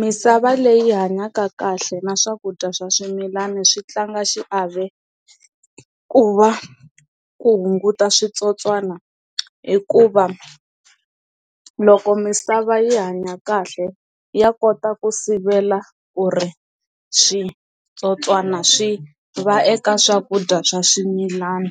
Misava leyi hanyaka kahle na swakudya swa swimilana swi tlanga xiave ku va ku hunguta switsotswana hikuva loko misava yi hanya kahle ya kota ku sivela ku ri switsotswana swi va eka swakudya swa swimilana